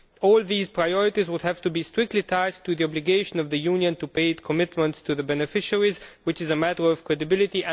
All these priorities would have to be strictly tied to the obligation of the Union to pay its commitments to the beneficiaries, which is a matter of credibility.